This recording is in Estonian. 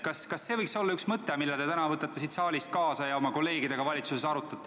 Kas see võiks olla üks mõte, mille te täna võtate siit saalist kaasa ja arutate seda oma kolleegidega valitsuses?